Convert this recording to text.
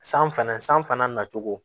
San fana san fana na cogo